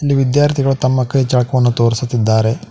ಇಲ್ ವಿದ್ಯಾರ್ಥಿಗಳು ತಮ್ಮ ಕೈ ಚಳಕವನ್ನು ತೋರಿಸುತ್ತಿದ್ದಾರೆ.